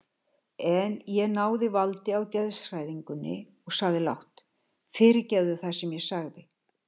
En ég náði valdi á geðshræringunni og sagði lágt: Fyrirgefðu það sem ég sagði.